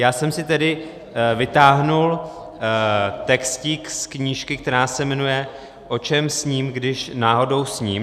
Já jsem si tedy vytáhl textík z knížky, která se jmenuje O čem sním, když náhodou sním.